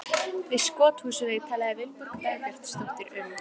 Við Skothúsveg talaði Vilborg Dagbjartsdóttir um